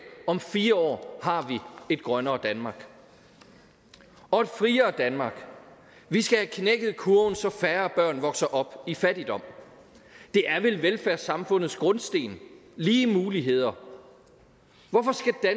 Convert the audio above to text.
om fire år har vi et grønnere danmark og et friere danmark vi skal have knækket kurven så færre børn vokser op i fattigdom det er vel velfærdssamfundets grundsten lige muligheder hvorfor